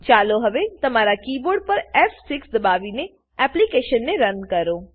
ચાલો હવે તમારા કીબોર્ડ પર ફ6 દબાવીને એપ્લીકેશનને રન કરો